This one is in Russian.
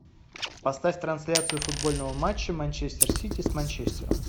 поставь трансляцию футбольного матча манчестер сити с манчестером